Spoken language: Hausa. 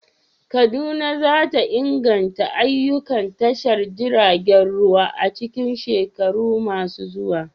Kaduna za ta inganta ayyukan tashar jiragen ruwa a cikin shekaru masu zuwa.